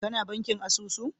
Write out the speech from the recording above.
Ka na bankin asusu?